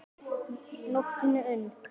Nóttin er ung